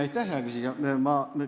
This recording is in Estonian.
Aitäh, hea küsija!